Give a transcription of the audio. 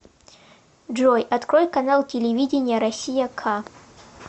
джой открой канал телевидения россия к